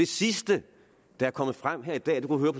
sidste der er kommet frem her i dag kunne